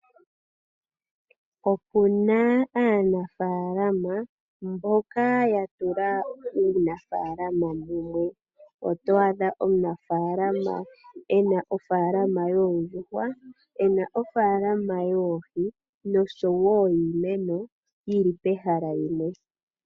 Okuna aanafaalama mboka yatula uunafaalama mumwe. Oto adha omunafaalama ena ofaalama yoondjuhwa, ena ofaalama yoohi nosho wo yiimeno yili pehala limwe.